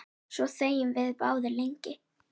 Svo þegjum við báðar lengi.